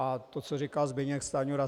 A to, co říkal Zbyněk Stanjura...